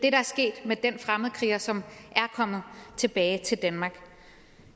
er sket med den fremmedkriger som er kommet tilbage til danmark